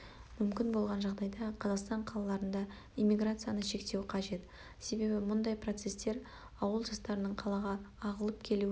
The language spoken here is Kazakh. мүмкін болған жағдайда қазақстан қалаларында эммиграцияны шектеу қажет себебі мұндай процестер ауыл жастарының қалаға ағылып келуіне